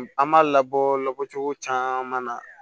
An m'a labɔ labɔ cogo caman na